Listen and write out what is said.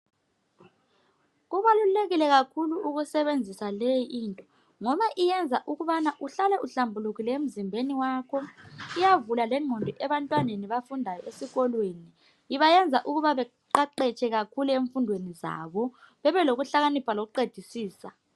Kubalulekile kakhulu ukusebenzisa leyi into ngoba iyenza ukubana uhlale uhlambulukile emzimbeni wakho iyavulela lengqondo abantwaneni abafundayo esikolweni ibayenza ukuthi beqeqeshe ezifundweni zabo bebelokuhlakanipha lokuqedisisa ezifundweni zabo